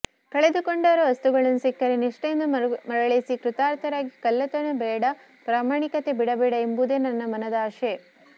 ಕಳೆದುಕೊಂಡವರ ವಸ್ತುಗಳನ್ನು ಸಿಕ್ಕರೆ ನಿಷ್ಠೆಯಿಂದ ಮರಳಿಸಿ ಕೃತಾರ್ಥರಾಗಿ ಕಳ್ಳತನ ಬೇಡ ಪ್ರಾಮಾಣಿಕತೆ ಬಿಡಬೇಡ ಎಂಬುದೇ ನನ್ನ ಮನದಾಶೆ